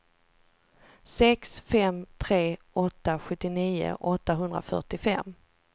sex fem tre åtta sjuttionio åttahundrafyrtiofem